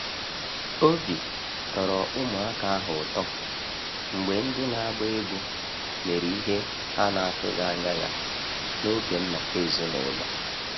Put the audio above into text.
Obi tọrọ ụmụaka ahụ ụtọ mgbe ndị na-agba egwú mere ihe ha na atụghị anya ya n’oge nnọkọ ezinụlọ.